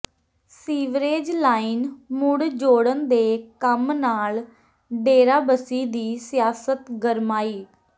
sewerage line ਮੁੜ ਜੋੜਨ ਦੇ ਕੰਮ ਨਾਲ ਡੇਰਾਬਸੀ ਦੀ ਸਿਆਸਤ ਗਰਮਾਈ